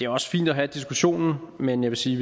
også fint at have diskussionen men jeg vil sige